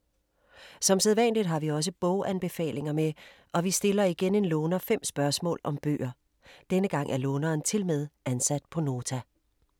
Som sædvanligt har vi også boganbefalinger med og vi stiller igen en låner 5 spørgsmål om bøger. Denne gang er låneren tilmed ansat på Nota.